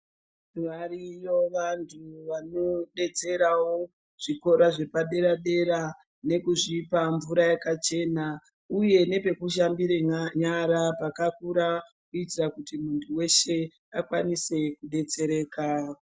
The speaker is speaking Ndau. Variyo vantu vanodetserawo zvikoro zvepaderadera nekuzvipa mvura yakachema uye nepekushambira nyara pakakura kuitura kuti muntu weshe akasire kudetsereka.